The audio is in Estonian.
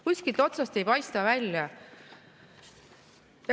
Kuskilt otsast ei paista välja.